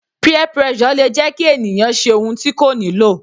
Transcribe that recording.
Peer pressure le jẹ́ kí ènìyàn ṣe ohun tí kò nílò.